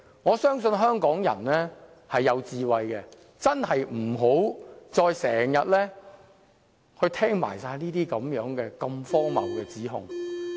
我相信香港人是有智慧的，我真的不希望再聽到如此荒謬的指控。